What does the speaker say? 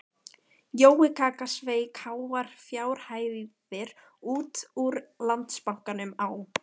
Jói kaka sveik háar fjárhæðir út úr Landsbankanum á